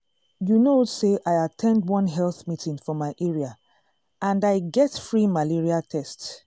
you know say i at ten d one health meeting for my area and i get free malaria test. um